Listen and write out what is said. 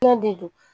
Fɛn de don